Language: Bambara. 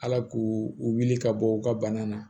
Ala k'u wuli ka bɔ u ka bana na